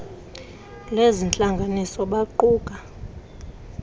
lezi ntlanganiso baquka